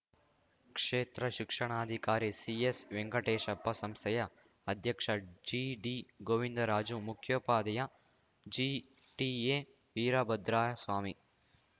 ಕ್ಷೇತ್ರ ಶಿಕ್ಷಣಾಧಿಕಾರಿ ಸಿಎಸ್‌ವೆಂಕಟೇಶಪ್ಪ ಸಂಸ್ಥೆಯ ಅಧ್ಯಕ್ಷ ಜಿಡಿಗೋವಿಂದರಾಜು ಮುಖ್ಯೋಪಾಧ್ಯಾಯ ಜಿಟಿಎ ವೀರಭದ್ರಸ್ವಾಮಿ